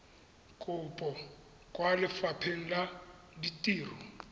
kopo kwa lefapheng la ditiro